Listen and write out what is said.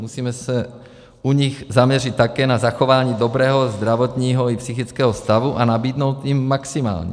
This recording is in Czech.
Musíme se u nich zaměřit také na zachování dobrého zdravotního i psychického stavu a nabídnout jim maximální.